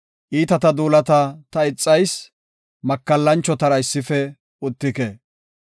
Iitata duulata ta ixayis; makallachotara issife uttike.